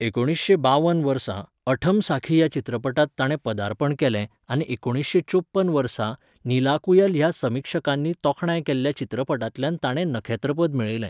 एकुणीसशें बावन वर्सा 'अठमसाखी' ह्या चित्रपटांत ताणें पदार्पण केलें आनी एकुणीसशें च्योपन वर्सा 'नीलाकुयल' ह्या समीक्षकांनी तोखणाय केल्ल्या चित्रपटांतल्यान ताणें नखेत्रपद मेळयलें.